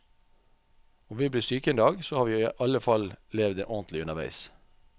Om vi blir syke en dag, så har vi i alle fall levd ordentlig underveis.